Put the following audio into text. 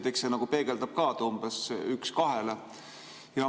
Eks see nagu peegeldab ka, et umbes 1 : 2.